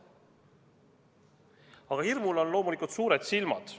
Aga hirmul on loomulikult suured silmad.